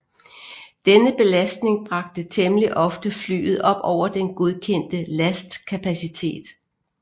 Denne belastning bragte temmelig ofte flyet op over den godkendte lastkapacitet